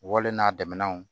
Wlen n'a damanw